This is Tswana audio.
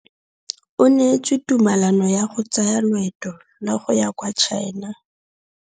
O neetswe tumalanô ya go tsaya loetô la go ya kwa China.